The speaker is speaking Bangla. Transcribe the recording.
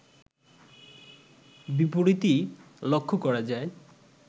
বিপরীতই লক্ষ করা যায়